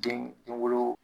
Den denwolo